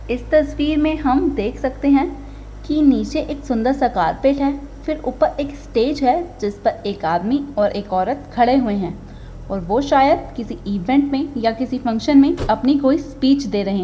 इस तस्वीर में हम देख सकते है कि नीचे एक सुन्दर सा कारपेट है| फिर ऊपर एक स्टेज है| जिस पर एक आदमी और एक औरत खड़े हुये है और वो शायद किसी इवेंट मे या किसी फंक्शन में अपनी कोई स्पीच दे रहे--